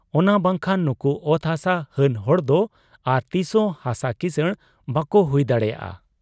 ᱚᱱᱟ ᱵᱟᱝᱠᱷᱟᱱ ᱱᱩᱠᱩ ᱚᱛ ᱦᱟᱥᱟ ᱦᱟᱱ ᱦᱚᱲᱫᱚ ᱟᱨ ᱛᱤᱥᱨᱮᱦᱚᱸ ᱦᱟᱥᱟ ᱠᱤᱥᱟᱹᱬ ᱵᱟᱟᱠᱚ ᱦᱩᱭ ᱫᱟᱲᱮᱭᱟᱜ ᱟ ᱾